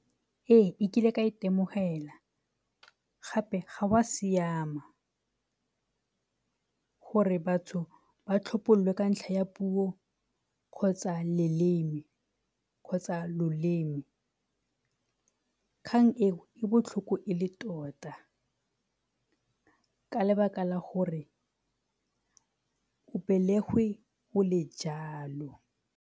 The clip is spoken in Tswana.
Ee, e kile ka itemogela, gape ga go a siama gore batho ba tlhophololwe ka ntlha ya puo kgotsa leleme kgotsa loleme. Kgang e e botlhoko e le tota ka ntlha ya gore o belegwe o le jalo.